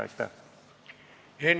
Aitäh!